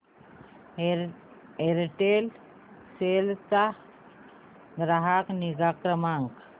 Aircel चा ग्राहक निगा क्रमांक